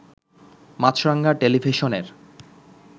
মাছরাঙ্গা টেলিভিশনের